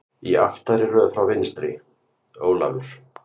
Í aftari röð frá vinstri: Ólafur